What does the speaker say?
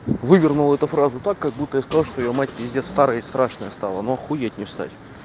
вывернул эту фразу так как будто я сказал что её мать пиздец старая и страшная стала ну охуеть не встать